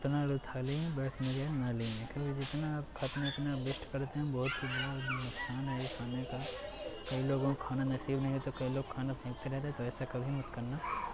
उतना लो थाली मैं व्यर्थ न जाये नाली में केवल जितना आप खाते हैं उतना आप वेस्ट करते हैं ब्वाहोत नुकसान है ये खाने का। कई लोगों को खाना नसीब नही होता कई लोग खाना फेंकते रहते हैं तो ऐसा कभी मत करना |